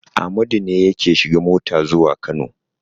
Amadu ne yake shiga mota zuwa Kano.